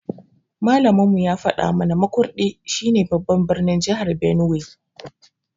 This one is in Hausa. Malamin mu ya faɗa mu na Makurdi shi ne babban birnin jahar Benue